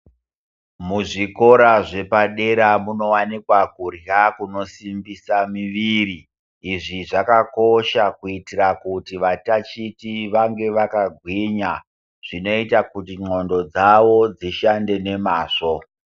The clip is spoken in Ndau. Muzvikora zvepadera kunowanika kudla kuno simbisa miviri. Izvi zvakakosha kuitira kuti vatatichi venge vakagwinya, zvinoita kuti ndxondo dzavo dzishande nemazvo.